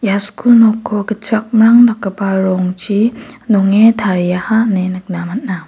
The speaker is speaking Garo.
ia skul nokko gitchakmrang dakgipa rongchi nonge tariaha ine nikna man·a.